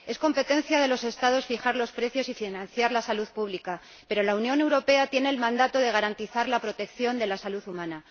Es competencia de los Estados fijar los precios y financiar la salud pública, pero la Unión Europea tiene el mandato de garantizar la protección de la salud humana.